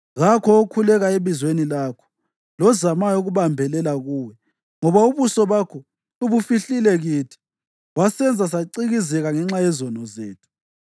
Kakho okhuleka ebizweni lakho lozamayo ukubambelela kuwe, ngoba ubuso bakho ubufihlile kithi wasenza sacikizeka ngenxa yezono zethu.